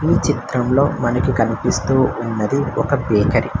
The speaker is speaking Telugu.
ఈ చిత్రంలో మనకి కనిపిస్తూ ఉన్నది ఒక బేకరి .